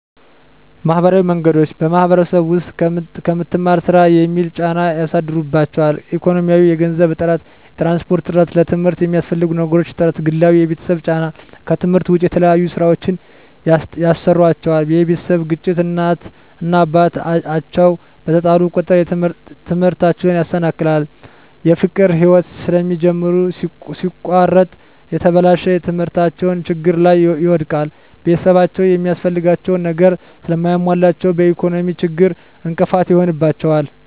ማህበራዊ ወንዶች በማህበረሰቡ ዉስጥ ከምትማር ስራ የሚል ጫና ያሳድሩባቸዋል። ኢኮኖሚያዊ የገንዘብ እጥረት፣ የትራንስፖርት እጥረት፣ ለትምርት የሚያስፈልጉ ነገሮች እጥረት፣ ግላዊ የቤተሰብ ጫና ከትምህርት ዉጭ የተለያዩ ስራወችን ያሰሩአቸዋል የቤተሰብ ግጭት እናት እና አባት አቸዉ በተጣሉ ቁጥር ትምህርታቸዉን ያሰናክላል። የፍቅር ህይወት ስለሚጀምሩ ሲቆረጥ የተበላሸ ትምህርታቸዉን ችግር ላይ ይወድቃል። ቤተሰብአቸዉ የሚያስፈልጋቸዉን ነገር ስለማያሞሉላቸዉ በኢኮኖሚ ችግር እንቅፋት ይሆንባቸዋል።